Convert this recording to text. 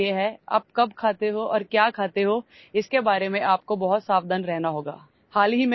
اس کا مطلب ہے کہ آپ کو اس بارے میں بہت محتاط رہنا ہوگا کہ آپ کب کھاتے ہیں اور کیا کھاتے ہیں